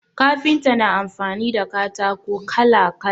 Kafinta na amfani da katako kala kala